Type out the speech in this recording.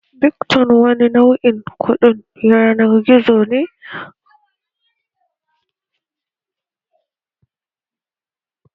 Bitcoin wani nau'in kuɗin yanar gizo ne wanda za'a iya amfani dashi don mu'amala ta layin sadarwa